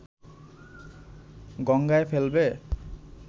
গঙ্গায় ফেলবে